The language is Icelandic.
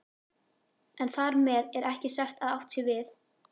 En þar með er ekki sagt að átt sé við